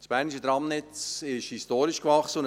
Das bernisches Tramnetz ist historisch gewachsen.